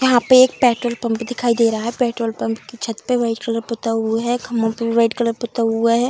यहाँ पे एक पेट्रोल पम्प दिखाई दे रहा है। पेट्रोल पम्प की छत पे वाइट कलर पोता हुआ है। खम्भों पे वाइट कलर पोता हुआ है।